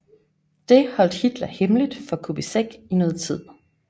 Det holdt Hitler hemmeligt for Kubizek i noget tid